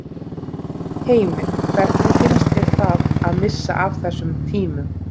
Heimir: Hvernig finnst þér það að missa af þessum tímum?